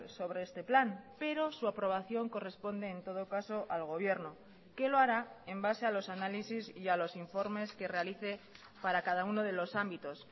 sobre este plan pero su aprobación corresponde en todo caso al gobierno que lo hará en base a los análisis y a los informes que realice para cada uno de los ámbitos